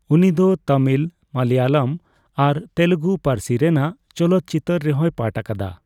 ᱩᱱᱤ ᱫᱚ ᱛᱟᱢᱤᱞ, ᱢᱟᱞᱟᱭᱟᱞᱟ ᱟᱨ ᱛᱮᱞᱜᱩ ᱯᱟᱹᱨᱥᱤ ᱨᱮᱭᱟᱜ ᱪᱚᱞᱚᱛᱪᱤᱛᱟᱹᱨ ᱨᱮᱦᱚᱸᱭ ᱯᱟᱴ ᱟᱠᱟᱫᱟ ᱾